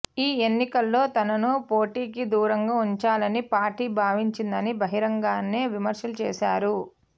ఈ ఎన్నికల్లో తనను పోటీకి దూరంగా ఉంచాలని పార్టీ భావించిందని బహిరంగానే విమర్శలు చేశారు